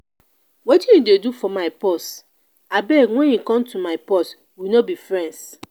wetin you dey do for my purse. abeg wen e come to my purse we no be friends.